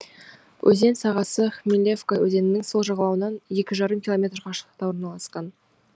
өзен сағасы хмелевка өзенінің сол жағалауынан екі жарым километр қашықтықта орналасқан